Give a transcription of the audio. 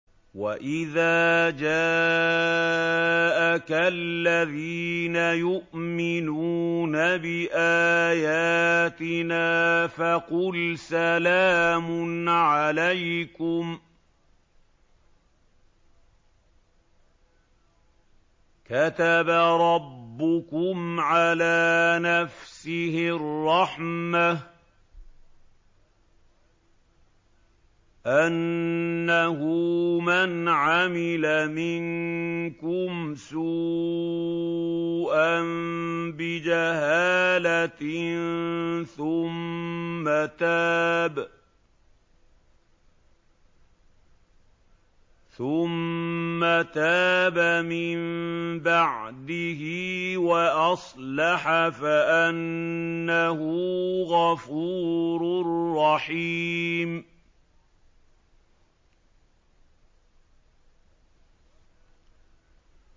وَإِذَا جَاءَكَ الَّذِينَ يُؤْمِنُونَ بِآيَاتِنَا فَقُلْ سَلَامٌ عَلَيْكُمْ ۖ كَتَبَ رَبُّكُمْ عَلَىٰ نَفْسِهِ الرَّحْمَةَ ۖ أَنَّهُ مَنْ عَمِلَ مِنكُمْ سُوءًا بِجَهَالَةٍ ثُمَّ تَابَ مِن بَعْدِهِ وَأَصْلَحَ فَأَنَّهُ غَفُورٌ رَّحِيمٌ